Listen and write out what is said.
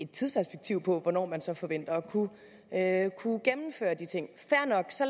tidsperspektiv på hvornår man så forventer at kunne gennemføre de ting fair nok så